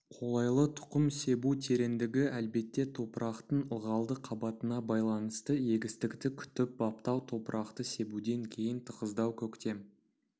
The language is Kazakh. қолайлы тұқым себу тереңдігі әлбетте топырақтың ылғалды қабатына байланысты егістікті күтіп-баптау топырақты себуден кейін тығыздау көктем